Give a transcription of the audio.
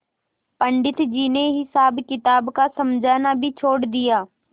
पंडित जी ने हिसाबकिताब का समझना भी छोड़ दिया